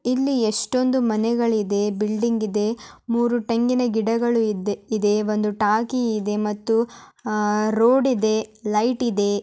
ಇಲ್ಲಿ ಎಷ್ಟೊಂದು ಮನೆಗಳಿದೆ ಬಿಲ್ಡಿಂಗ್ ಇದೆ ಮೂರು ತೆಂಗಿನ ಗಿಡಗಳು ಇದೆ ಮರಗಳಿವೆ ಒಂದು ಟ್ಯಾಂಕಿ ಇದೆ ಮತ್ತು ಅಹ್ ರೋಡಿದೆ ಲೈಟ್ ಇದೆ.